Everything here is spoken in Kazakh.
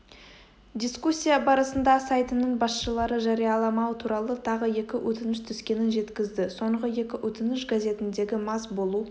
дискуссия барысында сайтының басшылары жарияламаутуралы тағы екі өтініш түскенін жеткізді соңғы екі өтініш газетіндегі мас болу